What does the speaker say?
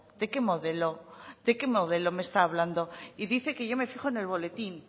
de qué modelo de qué modelo me está hablando y dice que yo me fijo en el boletín